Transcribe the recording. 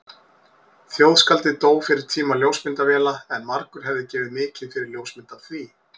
Þjóðskáldið dó fyrir tíma ljósmyndavéla en margur hefði gefið mikið fyrir ljósmynd af því.